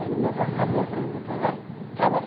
Ele mesmo abriu a floricultura lá e trabalhei.